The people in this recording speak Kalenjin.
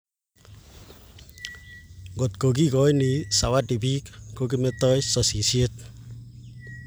Ngotko kikoini zawadi piik ko kimetoi sasaishet